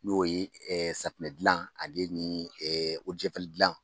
N'o ye safunɛdilan ale ni dilan